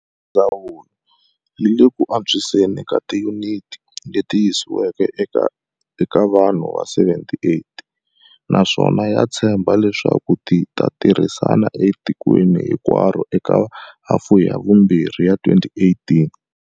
Ndzawulo yi le ku antswiseni ka tiyuniti leti yisiwaka eka vanhu ta 78, naswona ya tshemba leswaku ti ta tirhisiwa etikweni hinkwaro eka hafu ya vumbirhi ya 2018.